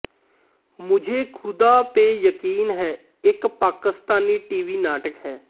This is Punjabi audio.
ਮੁਝੇ ਖੁਦਾ ਪੇ ਯਕੀਨ ਹੈ ਇੱਕ ਪਾਕਿਸਤਾਨੀ ਟੀਵੀ ਨਾਟਕ ਹੈ